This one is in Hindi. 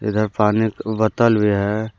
इधर पानी का बोतल भी है।